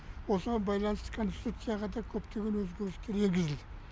осыған байланысты конституцияға да көптеген өзгерістер енгізілді